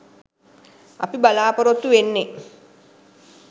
අපි බලාපොරොත්තු වෙන්නේ